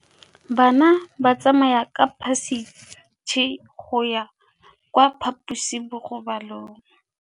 Bana ba tsamaya ka phašitshe go ya kwa phaposiborobalong.